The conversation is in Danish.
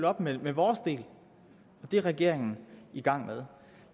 op med vores del og det er regeringen i gang med